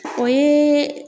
O ye